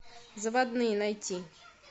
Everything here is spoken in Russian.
заводные найти